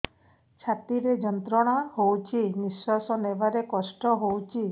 ଛାତି ରେ ଯନ୍ତ୍ରଣା ହଉଛି ନିଶ୍ୱାସ ନେବାରେ କଷ୍ଟ ହଉଛି